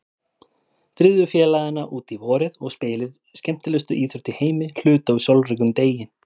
Drífðu félagana út í vorið og spilið skemmtilegustu íþrótt í heimi hluta úr sólríkum degi.